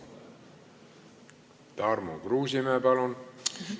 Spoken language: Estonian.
Tarmo Kruusimäe, palun!